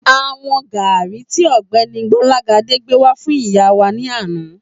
A wọn gàárì tí ògbéni Gbólágadé gbé wá fún ìyá wà ní àná